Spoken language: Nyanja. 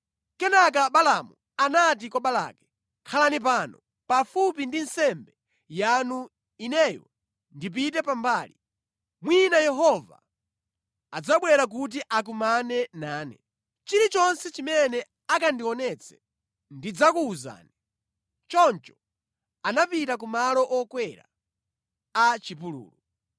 Kenaka Balaamu anati kwa Balaki, “Khalani pano pafupi ndi nsembe yanu ineyo ndipite pambali. Mwina Yehova adzabwera kuti akumane nane. Chilichonse chimene akandionetse ndidzakuwuzani” Choncho anapita ku malo okwera a chipululu.